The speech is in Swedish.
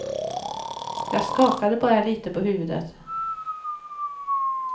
Jag skakade bara lite på huvudet.